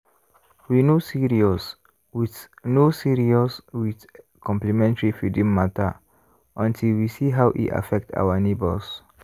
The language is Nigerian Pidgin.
we no serious with no serious with complementary feeding matter until we see how e affect our neighbors.